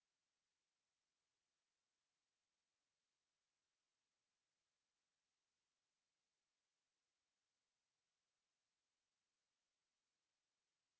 এই বিষয় বিস্তারিত তথ্য এই লিঙ্কএ প্রাপ্তিসাধ্য spoken hyphen tutorial dot org slash nmeict hyphen intro